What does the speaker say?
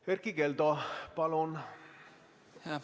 Erkki Keldo, palun!